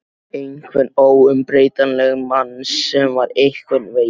Einhvern óumbreytanlegan mann sem var einhvern veginn.